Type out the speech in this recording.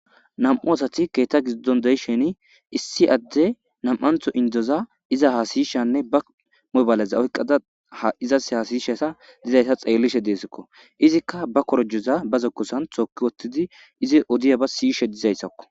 Nam'u asati keththa giddon deishin issi adey nam'ntho indoza iza hasaishene ba mobaleza oyqqada ha izzas hasaishe dizayssa xellishe dessiko izzika ba korojoza ba zokkozan tooki woththidi izi oddiyabba siyishshe dizayssako.